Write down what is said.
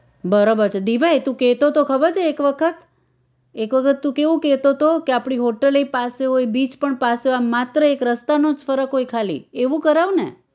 બરોબર છે દીભાઈ તું કેતો તો ખબર છે એક વખત એક વખત તું કેવું કેતો તો કે આપણી હોટેલ ય પાસે હોય beach પણ પાસે હોય આમ માત્ર એક રસ્તાનો જ ફરક હોય ખાલી એવું કરાવને